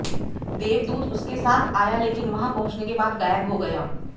देवदूत उसके साथ आया लेकिन वहां पहुंचने के बाद गायब हो गया